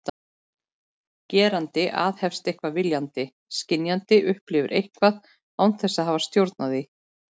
Gerandi aðhefst eitthvað viljandi, skynjandi upplifir eitthvað án þess að hafa stjórn á því.